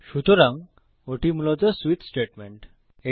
সুতরাং ওটি মূলত সুইচ স্টেটমেন্ট